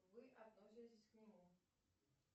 вы относитесь к нему